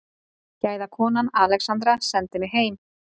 Gæðakonan Alexandra sendi mig heim.